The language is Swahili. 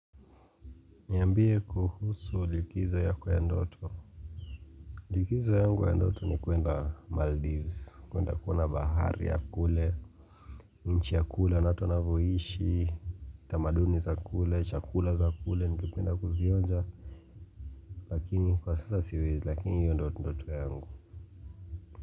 Niambie kuhusu likizo yako ya ndoto Likizo yangu ya ndoto ni kuenda Maldives kuenda kuona bahari ya kule nchi ya kule na watu wanavyoishi, tamaduni za kule, chakula za kule, ningependa kuzionja Lakini kwa sasa siwezi lakini hiyo ndio ndoto yangu.